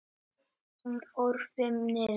Hún fór FIMM niður.